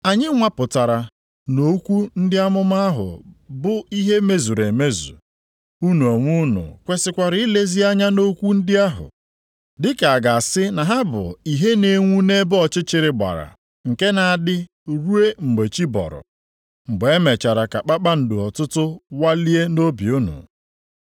Anyị nwapụtara na okwu ndị amụma ahụ bụ ihe mezuru emezu. Unu onwe unu kwesikwara ilezi anya nʼokwu ndị ahụ, dịka a ga-asị na ha bụ ìhè na-enwu nʼebe ọchịchịrị gbara nke na-adị ruo mgbe chi bọrọ, mgbe e mere ka kpakpando ọtụtụ walie nʼobi unu.